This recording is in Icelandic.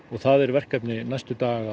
og það er verkefni næstu daga